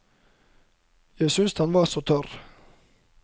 Jeg syntes han var så tørr.